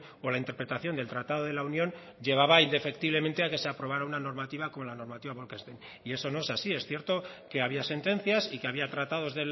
o la interpretación del tratado de la unión llevaba indefectiblemente a que se aprobara una normativa como la normativa bolkestein y eso no es así es cierto que había sentencias y que había tratados